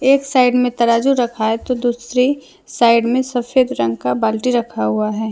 एक साइड में तराजू रखा है तो दूसरी साइड में सफेद रंग का बाल्टी रखा हुआ है।